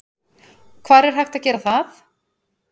Hvar er hægt að gera það?